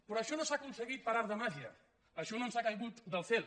però això no s’ha aconseguit per art de màgia això no ens ha caigut del cel